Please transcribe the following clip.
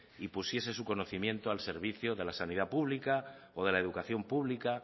y pusiese su conocimiento al servicio de la sanidad pública o de la educación pública